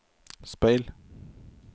speil